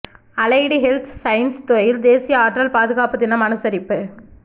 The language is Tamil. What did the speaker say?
அலைடு ஹெல்த் சயின்ஸ் துறையில் தேசிய ஆற்றல் பாதுகாப்பு தினம் அனுசரிப்பு